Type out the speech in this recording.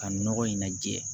Ka nɔgɔ in najɛ